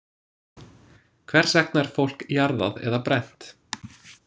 Hvers vegna er fólk jarðað eða brennt?